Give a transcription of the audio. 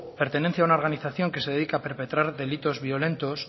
pertenencia a una organización que se dedica a perpretar delitos violentos